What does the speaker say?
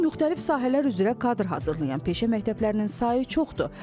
İndi müxtəlif sahələr üzrə kadr hazırlayan peşə məktəblərinin sayı çoxdur.